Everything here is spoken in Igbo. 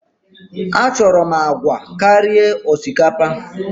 Achọrọ m agwa karịa osikapa!